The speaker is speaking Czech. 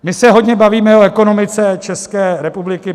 My se hodně bavíme o ekonomice České republiky.